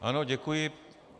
Ano, děkuji.